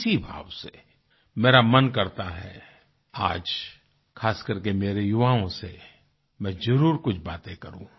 इसी भाव से मेरा मन करता है आज खासकरके मेरे युवाओं से मैं जरुर कुछ बातें करूँ